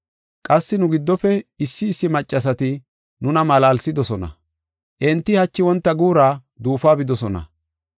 Qassi nu giddofe issi issi maccasati nuna malaalsidosona. Enti hachi wonta guura duufuwa bidosona.